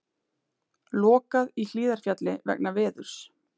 Lokað í Hlíðarfjalli vegna veðurs